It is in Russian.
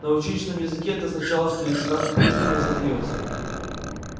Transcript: на училищном языке это означало что лейтенант плужников задаётся